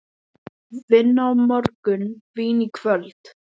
Vinna á morgun, vín í kvöld.